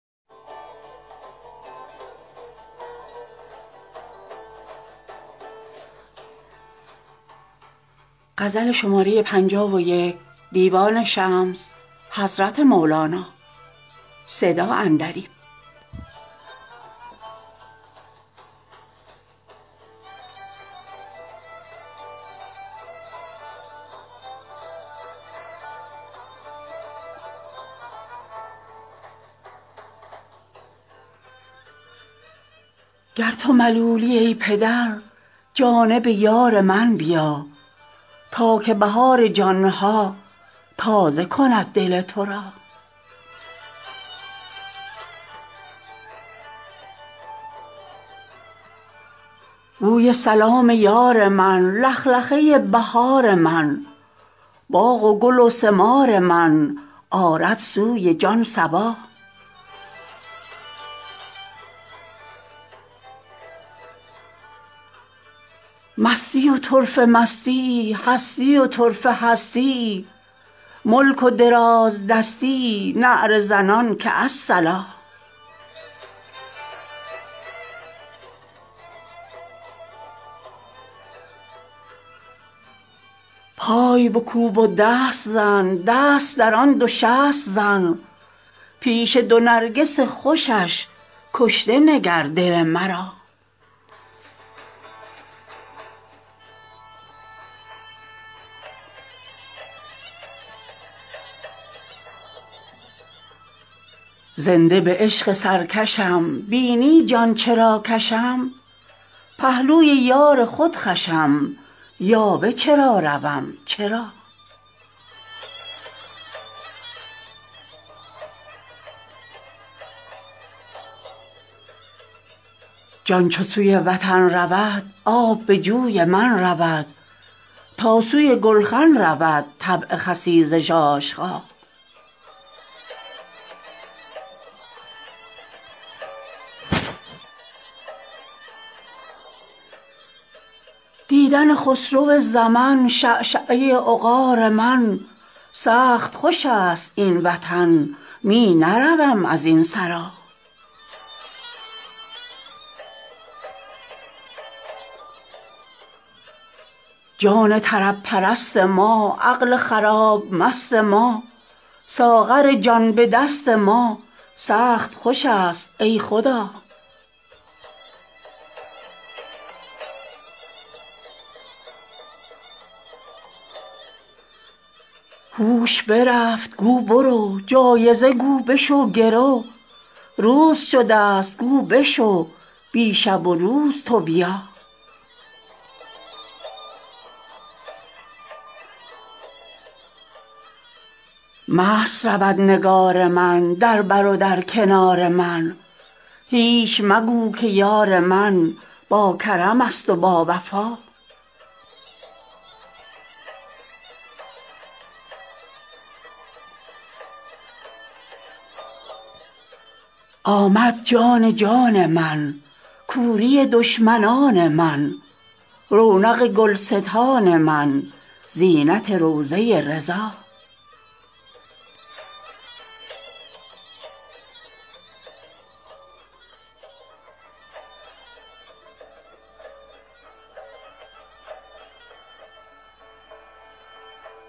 گر تو ملولی ای پدر جانب یار من بیا تا که بهار جان ها تازه کند دل تو را بوی سلام یار من لخلخه ی بهار من باغ و گل و ثمار من آرد سوی جان صبا مستی و طرفه مستی ای هستی و طرفه هستی ای ملک و دراز دستی ای نعره زنان که الصلا پای بکوب و دست زن دست درآن دو شست زن پیش دو نرگس خوشش کشته نگر دل مرا زنده به عشق سرکشم بینی جان چرا کشم پهلوی یار خود خوشم یاوه چرا روم چرا جان چو سوی وطن رود آب به جوی من رود تا سوی گولخن رود طبع خسیس ژاژخا دیدن خسرو زمن شعشعه عقار من سخت خوش است این وطن می نروم از این سرا جان طرب پرست ما عقل خراب مست ما ساغر جان به دست ما سخت خوش است ای خدا هوش برفت گو برو جایزه گو بشو گرو روز شده ست گو بشو بی شب و روز تو بیا مست رود نگار من در بر و در کنار من هیچ مگو که یار من باکرمست و باوفا آمد جان جان من کوری دشمنان من رونق گلستان من زینت روضه ی رضا